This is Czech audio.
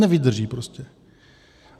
Nevydrží prostě.